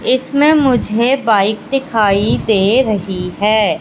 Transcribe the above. इसमें मुझे बाइक दिखाई दे रही है।